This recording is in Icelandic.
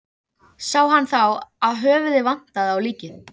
Allt er það sem háborið hjóm.